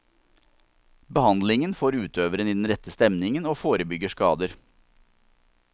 Behandlingen får utøveren i den rette stemningen, og forebygger skader.